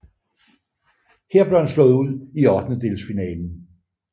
Her blev han slået ud i ottendedelsfinalen